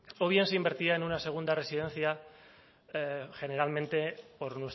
o bien se invertía en una segunda residencia generalmente por